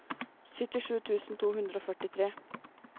syttisju tusen to hundre og førtitre